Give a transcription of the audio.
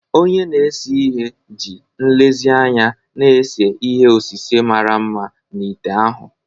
Onye na-ese ihe ji nlezianya na-ese ihe osise mara mma na ite ahụ.